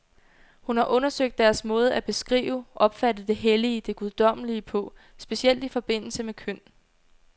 Hun har undersøgt deres måde at beskrive, opfatte det hellige, det guddommelige på, specielt i forbindelse med køn.